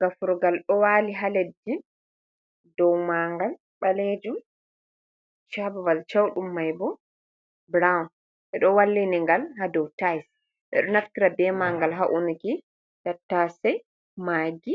Gafurgal ɗo waali haa leddi, dow maangal ɓaleejum cabmay cewɗum may bo, burawun ɓe ɗo walliningal haa dow taayels ɓe ɗo naftira bee maangal haa unuki tattasey, maagi ,